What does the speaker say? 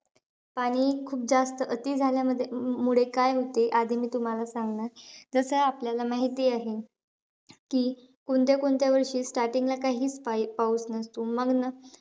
पाणी खूप जास्त अति अं झाल्यामुळे काय होते, आधी मी तुम्हाला सांगणार. जसं आपल्याला माहिती आहे की, कोणत्या-कोणत्या वर्षी starting ला काहीचं पाऊस नसतो.